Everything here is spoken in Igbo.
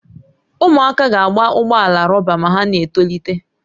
Ụmụaka ga-agba ụgbọ ala rọba ma ha na-etolite